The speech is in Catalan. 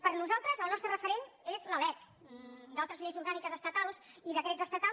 per a nosaltres el nostre referent és la lec d’altres lleis orgàniques estatals i decrets estatals